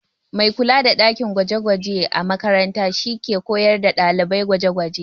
Mai kula da ɗakin gwaje-gwaje a makaranta shi ke koyar da ɗalibai gwaje-gwaje.